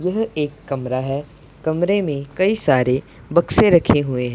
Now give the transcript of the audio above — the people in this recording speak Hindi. यह एक कमरा है कमरे में कई सारे बक्से रखें हुए--